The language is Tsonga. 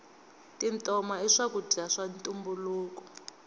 tintoma i swakudya swa ntumbuluko